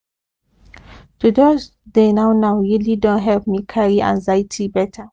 to just dey now now really don help me carry anxiety better